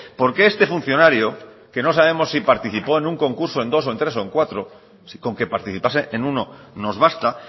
por qué este funcionario que no sabemos si participó en un concurso en dos o en tres o en cuatro si con que participase en uno nos basta